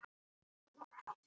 Allt virtist glatað og ónýtt.